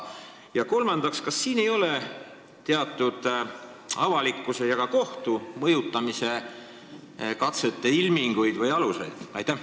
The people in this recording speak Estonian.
Ja kolmandaks, kas siin ei ole teatud avalikkuse ja ka kohtu mõjutamise katse ilminguid või aluseid?